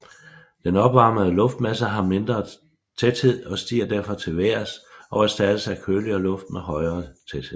Den opvarmede luftmasse har mindre tæthed og stiger derfor til vejrs og erstattes af køligere luft med højere tæthed